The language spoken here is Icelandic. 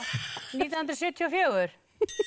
nítján hundruð sjötíu og fjögur